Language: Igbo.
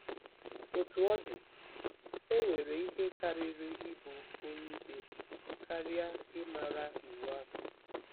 Otú ọ dị, e nwere ihe karịrị ịbụ onyeikpe karịa ịmara Iwu ahụ.